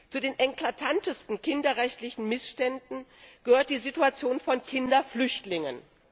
Zu den eklatantesten kinderrechtlichen Missständen gehört die Situation von Kinderflüchtlingen.